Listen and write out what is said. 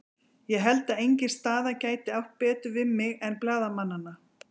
Ég held að engin staða gæti átt betur við mig en blaðamannanna.